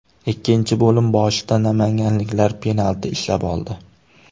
Ikkinchi bo‘lim boshida namanganliklar penalti ishlab oldi.